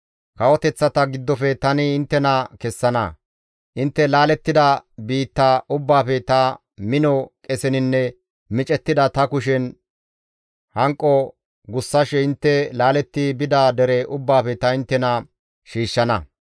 Kawoteththata giddofe tani inttena kessana; intte laalettida biitta ubbaafe ta mino qeseninne micettida ta kushen hanqo gussashe intte laaletti bida dere ubbaafe ta inttena shiishshana.